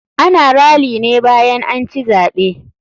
Ana rally ne bayan anci zaɓe.